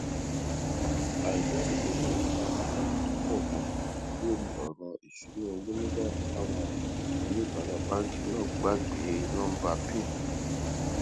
àìdáàbòbò náà fa àdánù tó pò ganan lórí òràn ìṣúnná owó nígbà táwọn oníbàárà báńkì náà gbàgbé nóńbà pin wọn